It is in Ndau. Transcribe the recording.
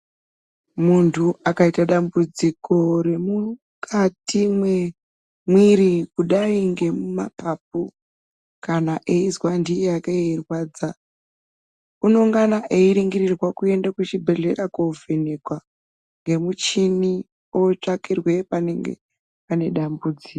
Muntu akaita dambudziko remukati mwemwiiri kudai ngemumapapu kana eizwa ndii yake yeirwadza. Unongana eiringirirwa kuende kuchibhehlera koovhenekwa ngemuchini ootsvakirwe panenge pane dambudziko.